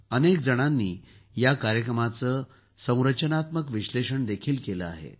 अनेक जणांनी या कार्यक्रमाचे संरचनात्मक विश्लेषण देखील केले आहे